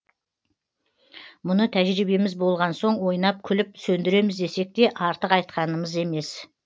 мұны тәжірибеміз болған соң ойнап күліп сөндіреміз десек те артық айтқанымыз емес